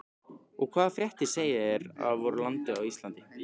Og hvaða fréttir segið þér af voru landi Íslandi?